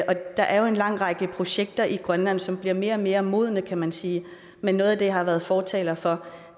og der er jo en lang række projekter i grønland som bliver mere og mere modne kan man sige noget af det jeg har været fortaler for